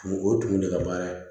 O ye tun de ka baara ye